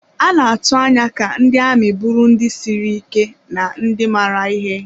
A na-atụ anya ka ndị amị bụrụ ndị siri ike na ndị maara ihe.